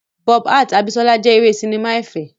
Bob hearts Abisola jẹ́ eré sinimá ẹ̀fẹ̀.